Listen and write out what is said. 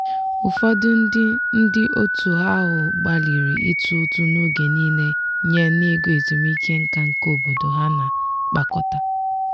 ụfọdụ ndị ndị otu ahụ gbalịrị itụ ụtụ n'oge niile nye n'ego ezumike nká nke obodo ha na-akpakọta.